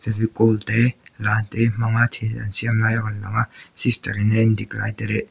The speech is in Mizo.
fevicol te la te hmanga thil an siam lai a rawn lang a sisterin a en dik lai te leh --